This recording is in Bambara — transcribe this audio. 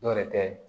Dɔw yɛrɛ tɛ